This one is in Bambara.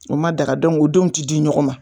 O ma daga o denw ti di ɲɔgɔn ma.